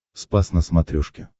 спас на смотрешке